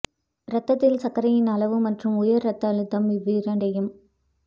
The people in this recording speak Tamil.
ரத்தத்தில் சர்க்கரையின் அளவு மற்றும் உயர் ரத்த அழுத்தம் இவ்விரண்டையும்